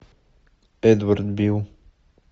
эдвард билл